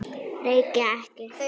Reykja ekki.